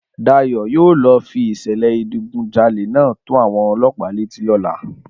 Dayọ̀ yóò lọ fi ìṣẹ̀lẹ̀ ìdigunjalè náà tó àwọn ọlọ́pàá létí lọ́la